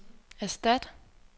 erstat